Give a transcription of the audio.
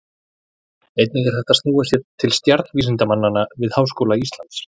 Einnig er hægt að snúa sér til stjarnvísindamanna við Háskóla Íslands.